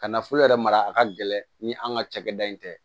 Ka nafolo yɛrɛ mara a ka gɛlɛn ni an ka cakɛda in tɛ